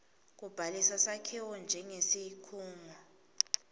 kubhalisa sakhiwo njengesikhungo